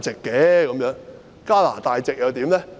加拿大籍又如何？